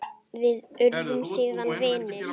Við urðum síðan vinir.